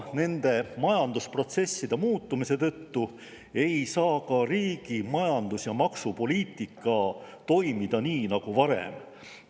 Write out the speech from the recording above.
Majandusprotsesside muutumise tõttu ei saa ka riigi majandus‑ ja maksupoliitika toimida nii nagu varem.